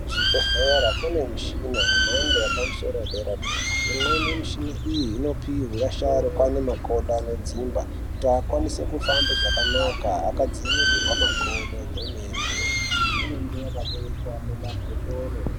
Kuzvibhedhlera kune michina yemhando yepamusoro dera-dera, imweni michina iyi inopihwa vasharukwa ane makodo anodzimba anokwanisa kufamba zvakanaka akagadzirirwa makodo kwemene inenge yakatoiswa mumabhotoro.